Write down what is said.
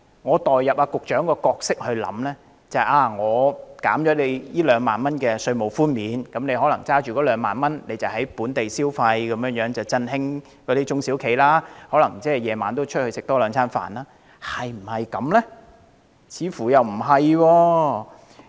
我代入局長的角色思考，假定在提供2萬元稅務寬免後，人們便有2萬元可用於本地消費，振興中小企，晚上也能較多外出用膳，但事實是否如此？